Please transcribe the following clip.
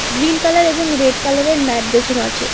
Green colour এবং red কালারের mat বেছানো আছে।